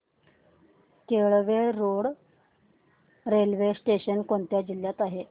Kelve road railway station कोणत्या जिल्ह्यात आहे